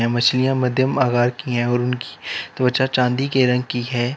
मछलियां मध्यम आकार की है और उनकी त्वचा चांदी के रंग की है।